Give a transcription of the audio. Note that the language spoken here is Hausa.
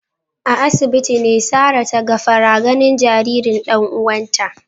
A asibitin ne Sarah taga fara ganin jaririn dan uwanta